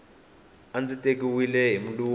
a ndzi tekiwile hi mulungu